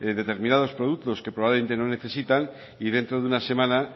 determinados productos que probablemente no necesitan y dentro de una semana